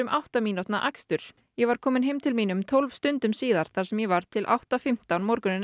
átta mínútna akstur ég var komin heim til mín um tólf stundum síðar þar sem ég var til átta fimmtán morguninn